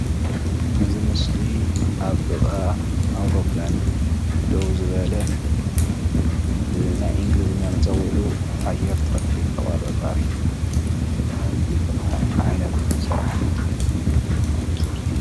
እዚ ምስሊ ኣብ ጥቃ ኣውሮፕላን ደው ዝበለ ብናይ እንግሊዘኛ መፀዊዒኡ ኣየር ትራፊክ ተቆፃፃሪ ዝባሃል ዓይነት ናይ ስራሕ ዘርፊ ።